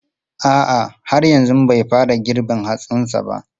A'a, har yanzu bai fara girbin hatsin sa ba.